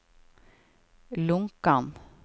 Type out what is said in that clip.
Lonkan